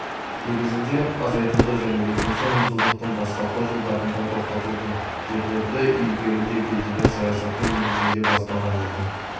негізінде азайтылды және екінші мыңжылдықтың бастапқы жылдарында тоқтатылды жерлерді игеруді көздеген саясаты негізінде басталған еді